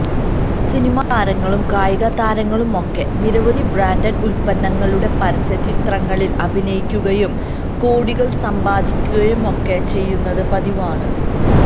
cinema താരങ്ങളും കായിക താരങ്ങളുമൊക്കെ നിരവധി ബ്രാന്ഡഡ് ഉത്പന്നങ്ങളുടെ പരസ്യ ചിത്രങ്ങളില് അഭിനയിക്കുകയും കോടികള് സമ്പാദിക്കുകയുമൊക്കെ ചെയ്യുന്നത് പതിവാണ്